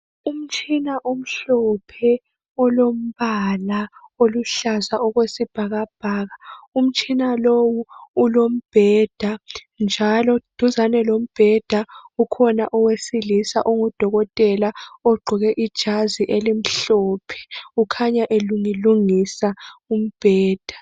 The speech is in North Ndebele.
Umtshina omhlophe, olombala oluhlaza okwesibhakabhaka, Umtshina lo ulombheda, njalo duzane lombheda, kukhona owesilisa ongudokotela, ogqoke ijazi elimhlophe. Ukhanya elungilungisa umbheda.